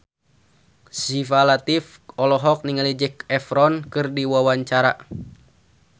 Syifa Latief olohok ningali Zac Efron keur diwawancara